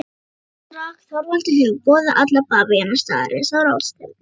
THEODÓRA: Þorvaldur hefur boðað alla bavíana staðarins á ráðstefnu.